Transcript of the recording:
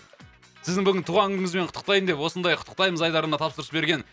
сіздің бүгінгі туған күніңізбен құттықтайын деп осындай құттықтаймыз айдарына тапсырыс берген